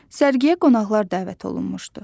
Sərgiyə qonaqlar dəvət olunmuşdu.